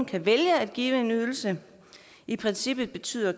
kan vælge at give en ydelse i princippet betyder